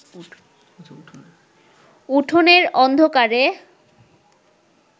উঠোনের অন্ধকারে